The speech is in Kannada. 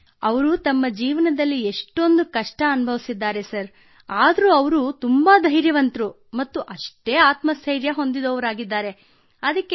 ಕೃತ್ತಿಕಾ ಸರ್ ಅವರು ತಮ್ಮ ಜೀವನದಲ್ಲಿ ಎಷ್ಟೊಂದು ಕಷ್ಟ ಻ನುಭವಿಸಿದ್ದಾರೆ ಆದರೂ ಅವರು ತುಂಬಾ ಧೈರ್ಯವಂತರೂ ಮತ್ತು ಆತ್ಮ ಸ್ಥೈರ್ಯ ಹೊಂದಿದವರಾಗಿದ್ದಾರೆ ಸರ್